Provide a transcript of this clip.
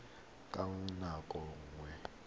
le mongwe ka nako nngwe